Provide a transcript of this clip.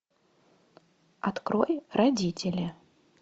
открой родители